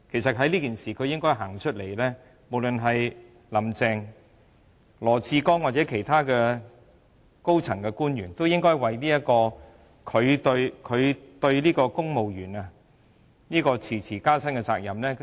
在這件事上，無論"林鄭"、羅智光局長或其他高層官員，也應該自行站出來，就公務員遲遲未能加薪負責和致歉。